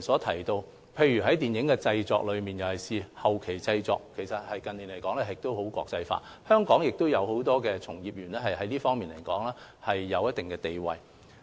近年電影製作，特別是後期製作趨向國際化，很多本地從業員在這方面也有一定地位。